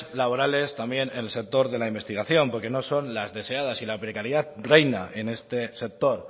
laborales también en el sector de la investigación porque no son las deseadas y la precariedad reina en este sector